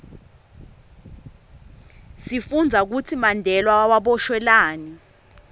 sifundza kutsi mandela waboshelwani